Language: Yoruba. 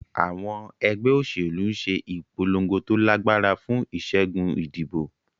Àwọn ẹgbẹ́ òṣèlú ń ṣe ìpolongo tó lágbára fún ìṣẹ́gun ìdìbò.